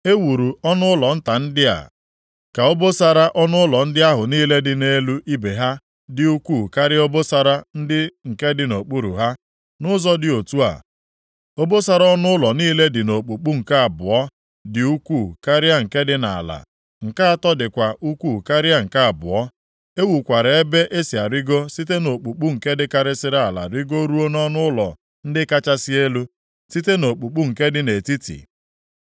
E wuru ọnụụlọ nta ndị a ka obosara ọnụụlọ ndị ahụ niile dị nʼelu ibe ha dị ukwuu karịa obosara ndị nke dị nʼokpuru ha. Nʼụzọ dị otu a, obosara ọnụụlọ niile dị nʼokpukpu nke abụọ dị ukwuu karịa nke dị nʼala; nke atọ dịkwa ukwuu karịa nke abụọ. E wukwara ebe e si arịgo site nʼokpukpu nke dịkarịsịrị ala rigoruo nʼọnụụlọ ndị kachasị elu, site nʼokpukpu nke dị nʼetiti.